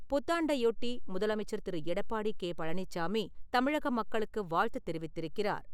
புத்தாண்டையொட்டி, முதலமைச்சர் திரு. எடப்பாடி கே. பழனிச்சாமி தமிழக மக்களுக்கு வாழ்த்து தெரிவித்திருக்கிறார்.